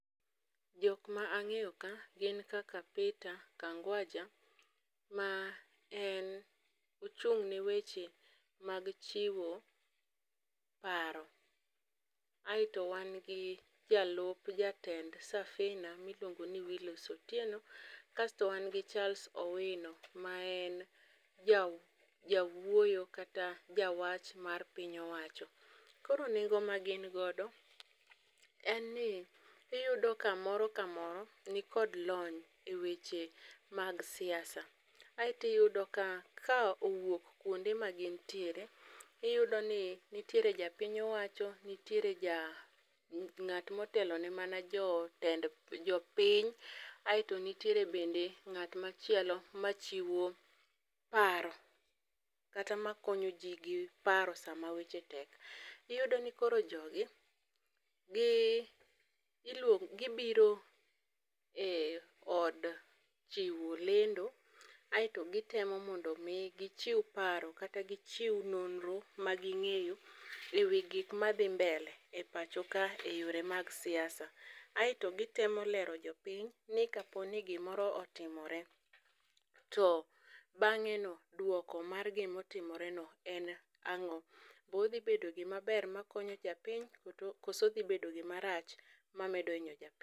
Jokma ang'eyo ka gin kaka Peter Kangwaja, ma en ochung' ne weche mag chiwo paro. Aeto wan gi jalup jatend Safina miluongo ni Willis Otieno, kasto wan gi Charles Owino ma en jawuoyo kata ja wach mar piny owacho. Koro nengo ma gin godo, en ni iyudo ka moro ka moro ni kod lony e weche mag siasa. Aeti yudo ka, ka owuok kuonde ma gin tiere, iyudo ni nitiere ja piny owacho, nitiere ja ng'at motelo ne mana jo tend jo piny. Aeto nitiere bende ng'at machielo machiwo paro, kata makonyo ji gi paro e sama weche tek. Iyudo ni koro jogi gi iluongo gibiro e od chiwo lendo, aeto gitemo mondo mi gichiw paro kata gichiw nonro ma ging'eyo ewi gik madhi mbele e pacho ka e yore mag siasa. Aeto gitemo lero jopiny ni kaponi gimoro otimore to bang'e no, duoko mar gimotimore no en ang'o? Bo odhi bedo gimaber ma konyo japiny koso dhi bedo gima rach ma medo inyo japiny?